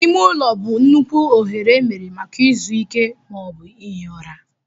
Ime ụlọ bụ nnukwu oghere emere maka izu ike ma ọ bụ ihi ụra.